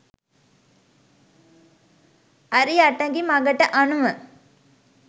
අරි අටඟි මඟට අනුව